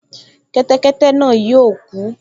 Kẹ́tẹ́kẹ́tẹ́ náà yóò kú